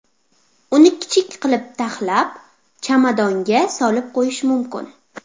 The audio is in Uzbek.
Uni kichik qilib taxlab, chamadonga solib qo‘yish mumkin.